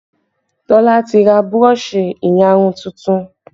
Tola ti ra burọ̀ṣì ìyarun tuntun